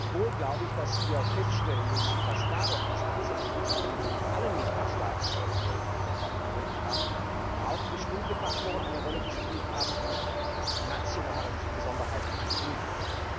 Gleichwohl müssen wir feststellen, dass dadurch, dass diese Entwicklungen nicht in allen Mitgliedstaaten der Europäischen Union stattgefunden haben, auch bestimmte Faktoren eine Rolle gespielt haben, die mit nationalen Besonderheiten zu tun haben.